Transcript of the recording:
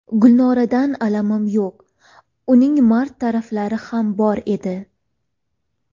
Gulnoradan alamim yo‘q, uning mard taraflari ham bor edi.